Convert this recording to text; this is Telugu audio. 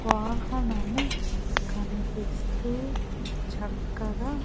వాహనము కనిపిస్తూ చక్కగా--